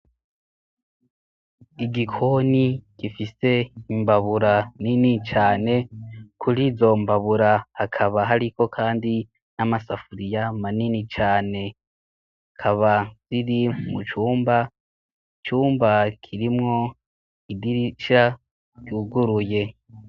Igikoni gifise imbabura nini cane kuri zombabura akaba h, ariko, kandi n'amasafuriya manini cane kaba ziri mucumba cumba kirimwo igirica ryuguruye.